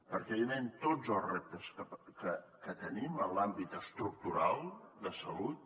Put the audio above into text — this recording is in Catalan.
perquè evidentment tots els reptes que tenim en l’àmbit estructural de salut